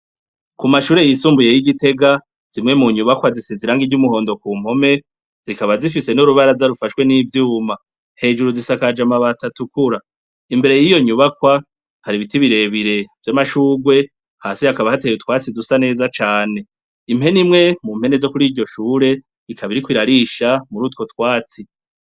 Ku mashure y'isumbuye y'igitega, zimwe mu nyubakwa zisizirangi iry'umuhondo ku mpome zikaba zifise n'urubaraza rufashwe n'ibyuma, hejuru z'isakajamabatatukura imbere y'iyo nyubakwa kari biti birebire by'amashugwe hasi hakaba hatewe utwatsi dusa neza cane, impenimwe mu mpene zo kuri ijyoshure ikaba irikuirarisha murutwo twatsi.